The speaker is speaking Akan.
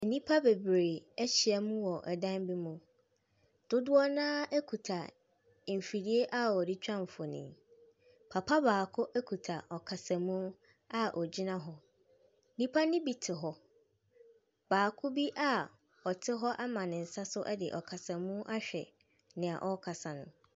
Nipa bebree ehyia mu wɔ ɛdan bi mu. Dodoɔ na ekuta mfidie a wɔde twa mfonin. Papa baako ekuta ɔkasamu a ɔgyina hɔ. Nipa ne bi te hɔ, baako bi a ɔte hɔ ama ne nsa so ɛde ɔkasamu ahwɛ nea ɔɔkasa no.